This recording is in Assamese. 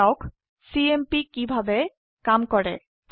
দেখা যাওক চিএমপি কিভাবে কাম কৰে